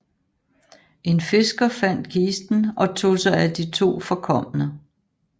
En fisker fandt kisten og tog sig af de to forkomne